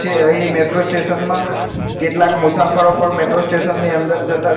જે અહીં metro station માં કેટલાક મુસાફરો પર મેટ્રો સ્ટેશન ની અંદર જતા--